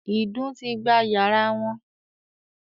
“ìdun ” ti gba yàrá wọn